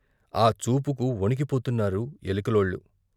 ఆ చూపుకు వణికిపోతున్నారు ఎలికలోళ్ళు.